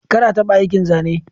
Kar a taɓa aikin zane.